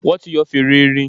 Wọ́n ti yọ fèrè erin.